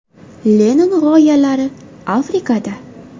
Lenin g‘oyalari Afrikada.